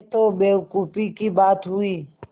यह तो बेवकूफ़ी की बात हुई